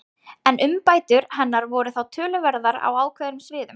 En umbætur hennar voru þó töluverðar á ákveðnum sviðum.